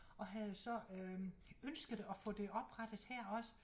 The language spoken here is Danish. Og havde så øh ønsket at få det oprettet her også